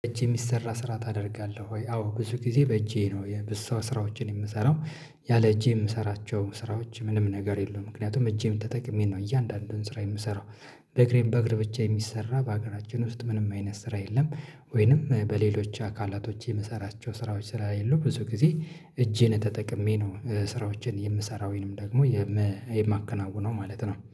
በእጅ የሚሰራ ስራ ታደርጋለህ ወይ? አዎ ብዙ ጊዜ በእጄ ነው የብዙ ሰው ስራዎችን የምሰራው ያለ እጄ የምሰራቸው ስራዎች ምንም ነገር የሉም ምክንያቱም እጄን ተጠቅሜ ነው እያንዳንዱን ስራ የምሰራው። እግሬን በእግር ብቻ የሚሰራ በሀገራችን ውስጥ ምንም አይነት ስራ የለም። ወይንም በሌሎች አካላቶች የምሰራቸው ስራዎች ስራ የሉም ብዙ ጊዜ እጄን ተጠቅሜ ነው። እ ስራዎችን የምሰራው ወይንም ደግሞ የመ የማከናውነው ማለት ነው